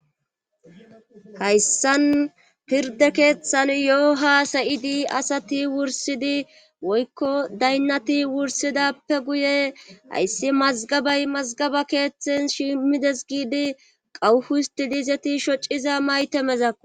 hayssan pirde keeththan yoo haa sayidi asati wursidi woykko daynnati wursidappe guye hayssi mazgabay mazgaba keeththen shimmides giidi qawuhu histidiizeti shociza maytemezakko